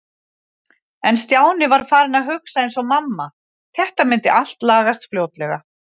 En Stjáni var farinn að hugsa eins og mamma- þetta myndi allt lagast fljótlega.